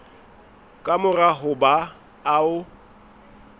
ka mora ho ba o